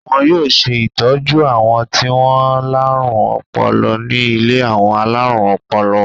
Wọn yóò ṣe ìtọ́jú àwọn tí wọ́n láárùn ọpọlọ ní ilé àwọn alárùn ọpọlọ.